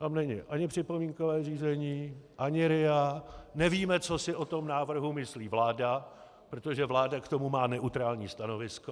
Tam není ani připomínkové řízení, ani RIA, nevíme, co si o tom návrhu myslí vláda, protože vláda k tomu má neutrální stanovisko.